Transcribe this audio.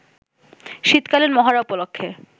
শীতকালীন মহড়া উপলক্ষে